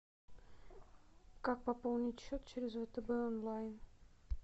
как пополнить счет через втб онлайн